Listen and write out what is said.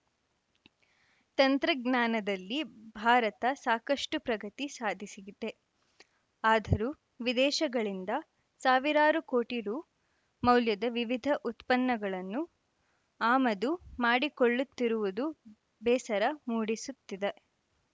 ತಂತ್ರಜ್ಞಾನದಲ್ಲಿ ಭಾರತ ಸಾಕಷ್ಟು ಪ್ರಗತಿ ಸಾಧಿಸಿದೆ ಆದರೂ ವಿದೇಶಗಳಿಂದ ಸಾವಿರಾರು ಕೋಟಿ ರು ಮೌಲ್ಯದ ವಿವಿಧ ಉತ್ಪನ್ನಗಳನ್ನು ಆಮದು ಮಾಡಿಕೊಳ್ಳುತ್ತಿರುವುದು ಬೇಸರ ಮೂಡಿಸುತ್ತಿದೆ